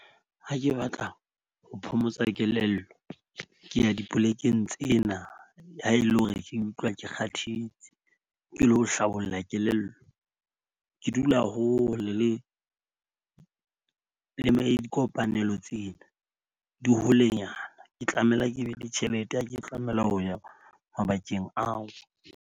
Ha ke batla ho phomotsa kelello ke ya dipolekeng tsena, ha e le hore ke utlwa ke kgathetse. Ke lo hlabolla kelello ke dula hole le dikopanelo tsena di holenyana. Ke tlamela ke be le tjhelete ha ke tlamela ho ya mabakeng ao.